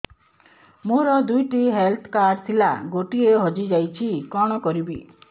ମୋର ଦୁଇଟି health card ଥିଲା ଗୋଟିଏ ହଜି ଯାଇଛି କଣ କରିବି